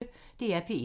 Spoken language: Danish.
DR P1